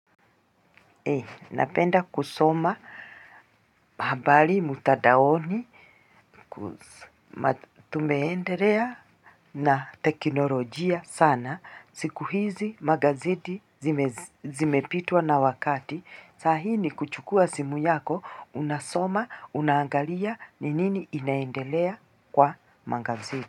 Napenda kusoma habari mutadaoni, tumeenderea na teknolojia sana, siku hizi magazeti zimepitwa na wakati, sahii ni kuchukua simu yako, unasoma, unaangalia, ni nini inaendelea kwa magazi.